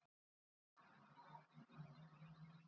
Allir frekar sætir Mestu vonbrigði?